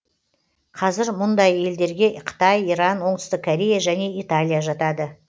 қазір мұндай елдерге қытай иран оңтүстік корея және италия жатады